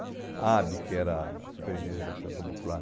A, que era a Superintendência de Habitação Popular,